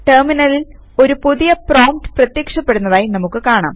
ടെർമിനലിൽ ഒരു പുതിയ പ്രോംപ്റ്റ് പ്രത്യക്ഷപ്പെടുന്നതായി നമുക്ക് കാണാം